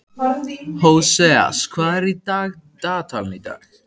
Hóseas, hvað er í dagatalinu í dag?